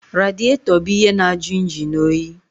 Radịètọ bụ ihe na-jụ injin oyi